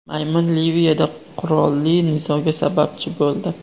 Maymun Liviyada qurolli nizoga sababchi bo‘ldi.